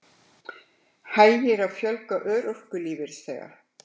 Hægir á fjölgun örorkulífeyrisþega